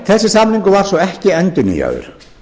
þessi samningur var svo ekki endurnýjaður